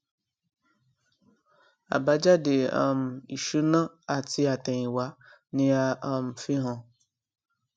ábájáde um ìṣúná àti àtẹyìnwá ni a um fi hàn